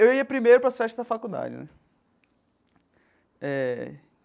Eu ia primeiro para as festas da faculdade né eh.